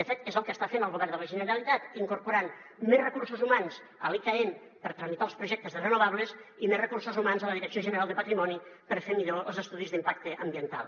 de fet és el que està fent el govern de la generalitat incorporant més recursos humans a l’icaen per tramitar els projectes de renovables i més recursos humans a la direcció general de patrimoni per fer millor els estudis d’impacte ambiental